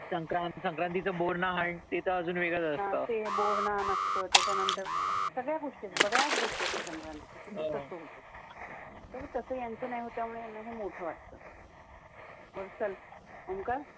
ते बोहनान असत त्याच्यानंतर सगळ्या गोष्टी, बऱ्याच गोष्टी असतात. संक्रांतीच्या तसं यांचं नाही होत त्यामुळे यांना हे मोठं वाटत. म चाल ओंकार